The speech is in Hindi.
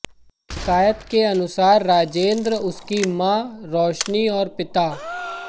शिकायत के अनुसार राजेन्द्र उसकी मां रोशनी और पिता